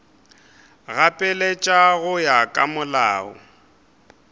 gapeletša go ya ka molao